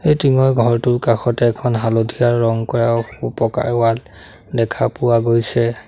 এই টিঙ ৰ ঘৰটোৰ কাষতে এখন হালধীয়া ৰং কৰা পকাৰ ৱাল দেখা পোৱা গৈছে।